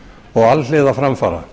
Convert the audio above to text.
og alhliða framfara